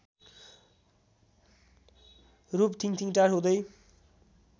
रूप थिङथिङटार हुँदै